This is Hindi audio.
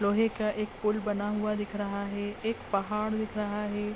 लोहे का एक पूल बना हुआ दिख रहा है। एक पहाड़ दिखा रहा है।